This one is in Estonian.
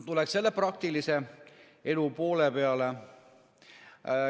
Tuleks jälle praktilise elu poole peale.